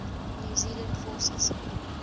new zealand forces